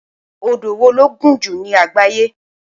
Odò wo ló gùn jù ní àgbáyé?